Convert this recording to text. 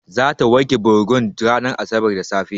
Zata wanke bargon ranar asabar da safe.